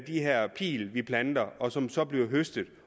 de her pile vi planter og som så bliver høstet